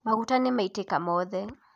Maguta nĩmaitĩka mothe